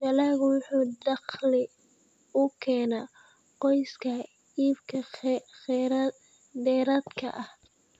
Dalaggu wuxuu dakhli u keenaa qoyska iibka dheeraadka ah.